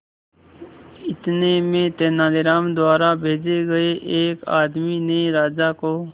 इतने में तेनालीराम द्वारा भेजे गए एक आदमी ने राजा को